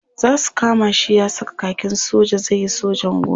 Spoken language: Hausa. Za su kama shi ya saka kakin soja zai yi sojan gona.